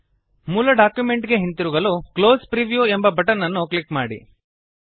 ಮೂಲ ಡಾಕ್ಯುಮೆಂಟ್ ಗೆ ಹಿಂತಿರುಗಲು ಕ್ಲೋಸ್ ಪ್ರಿವ್ಯೂ ಎಂಬ ಬಟನ್ ಅನ್ನು ಕ್ಲಿಕ್ ಮಾಡಿ